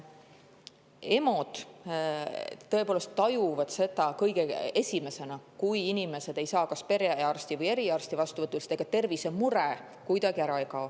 EMO-d tõepoolest tajuvad seda kõige esimesena, kui inimesed ei saa kas perearsti või eriarsti vastuvõtule, sest ega tervisemure kuidagi ära ei kao.